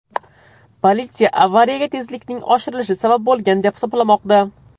Politsiya avariyaga tezlikning oshirilishi sabab bo‘lgan deb hisoblamoqda.